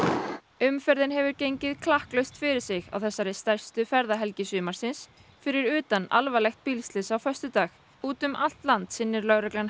umferðin hefur gengið klakklaust fyrir sig á þessari stærstu ferðahelgi sumarsins fyrir utan alvarlegt bílslys á föstudag úti um allt land sinnir lögreglan